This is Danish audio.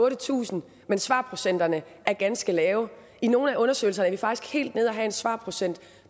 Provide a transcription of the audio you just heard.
otte tusind mens svarprocenterne er ganske lave i nogle af undersøgelserne er vi faktisk helt nede at have en svarprocent